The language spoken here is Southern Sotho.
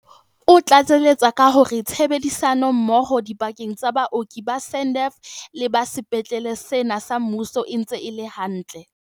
O tlatseletsa ka hore tshebedi sano mmoho dipakeng tsa baoki ba SANDF le ba sepetleng sena sa mmuso e ntse e le hantle.